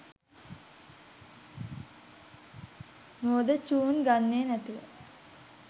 මෝඩ චුන් ගන්නේ නැතුව.